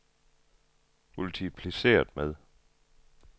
multipliceret med